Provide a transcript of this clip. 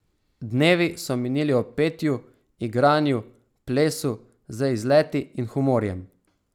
Dnevi so minili ob petju, igranju, plesu, z izleti in humorjem.